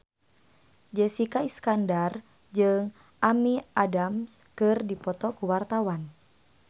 Jessica Iskandar jeung Amy Adams keur dipoto ku wartawan